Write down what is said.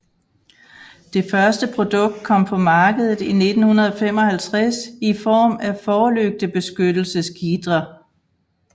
Det første produkt kom på markedet i 1955 i form af forlygtebeskyttelsesgitre